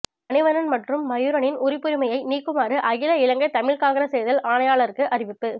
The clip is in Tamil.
மணிவண்ணன் மற்றும் மயூரனின் உறுப்புரிமையை நீக்குமாறு அகில இலங்கை தமிழ் காங்கிரஸ் தேர்தல் ஆணையாளருக்கு அறிவிப்பு